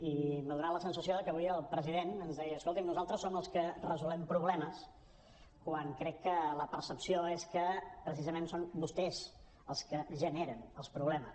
i m’ha fet la sensació que avui el president ens deia escolti’m nosaltres som els que resolem problemes quan crec que la percepció és que precisament són vostès els que generen els problemes